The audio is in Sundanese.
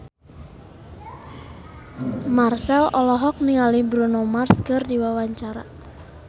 Marchell olohok ningali Bruno Mars keur diwawancara